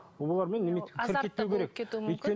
олармен азартта болып кетуі мүмкін